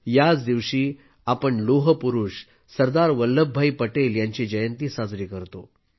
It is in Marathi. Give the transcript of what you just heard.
याच दिवशी आपण लोहपुरुष सरदार वल्लभ भाई पटेल यांची जयंती साजरी करतो